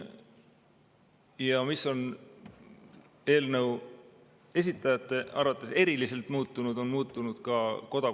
Ja mis on eelnõu esitajate arvates eriliselt muutunud?